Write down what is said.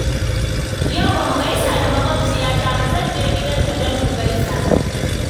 Yau ba mu gaisa da maƙabciyata ba, zan je gidanta don mu gaisa